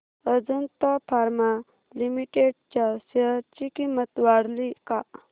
Ajanta pharma limited च्या share ची किंमत वाढली का